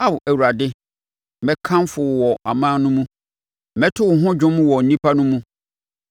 Ao Awurade, mɛkamfo wo wɔ aman no mu; mɛto wo ho dwom wɔ nnipa no mu.